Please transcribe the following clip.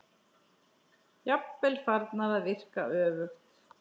Jafnvel farnar að virka öfugt.